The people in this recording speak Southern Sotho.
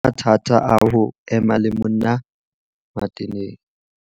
Qoba mathata a ho ema le monna Mateneng